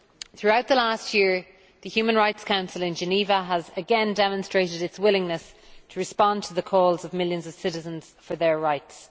Throughout the last year, the UN Human Rights Council in Geneva has again demonstrated its willingness to respond to the calls of millions of citizens for their rights.